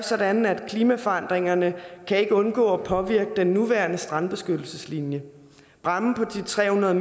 sådan at klimaforandringerne ikke kan undgå at påvirke den nuværende strandbeskyttelseslinje bræmmen på de tre hundrede